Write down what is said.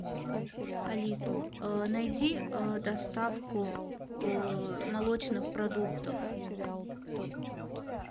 алиса найди доставку молочных продуктов